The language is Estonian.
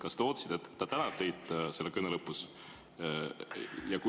Kas te ootasite, et ta tänab teid selle kõne lõpus?